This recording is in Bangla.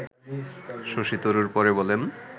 শশী তরুর পরে বলেন